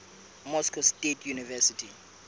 moscow state university